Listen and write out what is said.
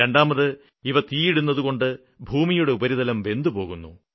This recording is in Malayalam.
രണ്ടാമത് ഇവ തീ ഇടുന്നതുകൊണ്ട് ഭൂമിയുടെ ഉപരിതലം വെന്തുപോകുന്നു